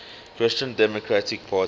christian democratic parties